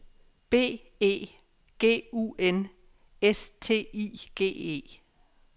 B E G U N S T I G E